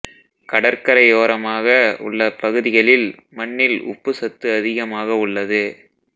கடற்கரையோரமாக உள்ள பகுதிகளில் மண்ணில் உப்பு சத்து அதிகமாக உள்ளது